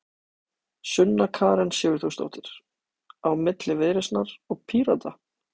Sunna Karen Sigurþórsdóttir: Á milli Viðreisnar og Pírata?